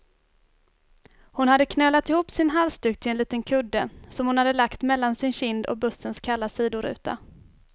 Hon hade knölat ihop sin halsduk till en liten kudde, som hon hade lagt mellan sin kind och bussens kalla sidoruta.